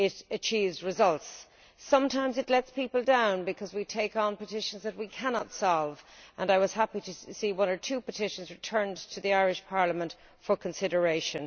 achieves results. Sometimes it lets people down, because we take on petitions that we cannot resolve, and I was happy that one or two petitions could be returned to the Irish Parliament for consideration.